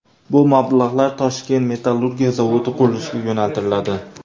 Bu mablag‘lar Toshkent metallurgiya zavodi qurilishiga yo‘naltiriladi.